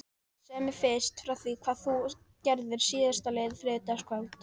Segðu mér fyrst frá því hvað þú gerðir síðastliðið þriðjudagskvöld.